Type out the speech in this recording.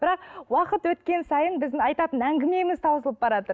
бірақ уақыт өткен сайын біздің айтатын әңгімеміз таусылып бараатыр